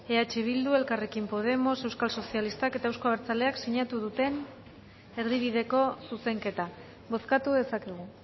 eh bildu elkarrekin podemos euskal sozialistak eta euzko abertzaleak sinatu duten erdibideko zuzenketa bozkatu dezakegu